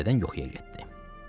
Və təzədən yuxuya getdi.